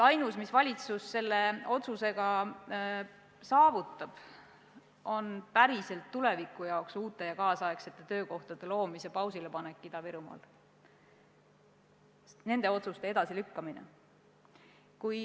Ainus, mida valitsus selle otsusega saavutab, on päriselt tulevikku suunatud uute ja tänapäevaste töökohtade loomise pausilepanek Ida-Virumaal, nende otsuste edasilükkamine.